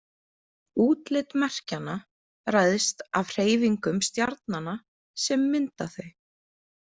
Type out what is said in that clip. Útlit merkjanna ræðst af hreyfingum stjarnanna sem mynda þau.